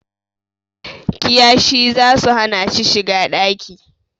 Kiyashih zasu hana shi shiga ɗaki